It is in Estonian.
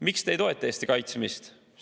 Miks te ei toeta Eesti kaitsmist?